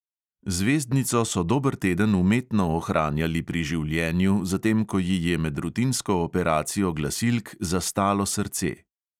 Zvezdnico so dober teden umetno ohranjali pri življenju, zatem ko ji je med rutinsko operacijo glasilk zastalo srce.